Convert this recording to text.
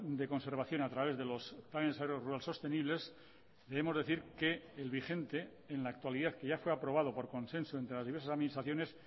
de conservación a través de los sostenibles debemos decir que el vigente en la actualidad que ya fue aprobado por consenso entre las diversas administraciones